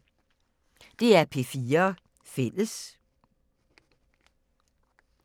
DR P4 Fælles